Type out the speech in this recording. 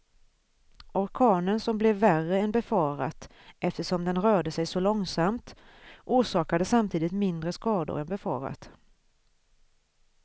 Orkanen som blev värre än befarat eftersom den rörde sig så långsamt, orsakade samtidigt mindre skador än befarat.